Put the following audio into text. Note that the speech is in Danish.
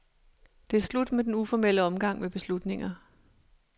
Det er slut med den uformelle omgang med beslutninger.